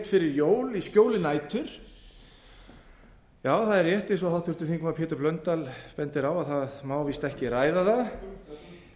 fyrir jól í skjóli nætur já það er rétt eins og háttvirtur þingmaður pétur blöndal bendir á að það má víst ekki ræða